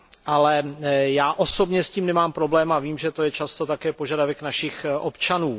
Ale já osobně s tím nemám problém a vím, že je to často také požadavek našich občanů.